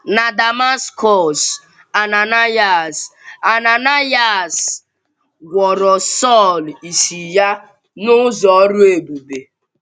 Na Damaskọs, Ananaịas, Ananaịas gwọrọ Sọl ìsì ya n’ụzọ ọrụ ebube.